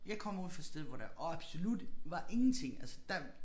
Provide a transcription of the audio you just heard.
Jeg kommer ude fra et sted hvor der absolut var ingenting altså der